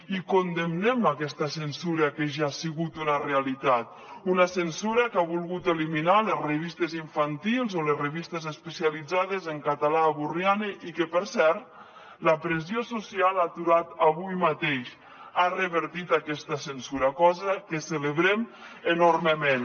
i condemnem aquesta censura que ja ha sigut una realitat una censura que ha volgut eliminar les revistes infantils o les revistes especialitzades en català a borriana i que per cert la pressió social ha aturat avui mateix ha revertit aquesta censura cosa que celebrem enormement